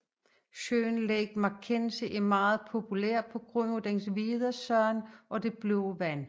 Søen Lake McKenzie er meget populær på grund af dens hvide sand og det blå vand